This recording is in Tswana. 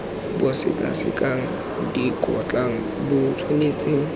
bo sekasekang dikgotlang bo tshwanetse